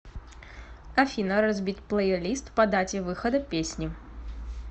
афина разбить плейлист по дате выхода песни